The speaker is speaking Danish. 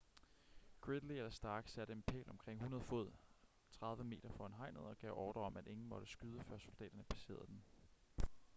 gridley eller stark satte en pæl omkring 100 fod 30 m foran hegnet og gav ordrer om at ingen måtte skyde før soldaterne passerede den